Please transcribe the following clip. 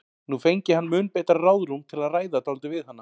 Nú fengi hann mun betra ráðrúm til að ræða dálítið við hana.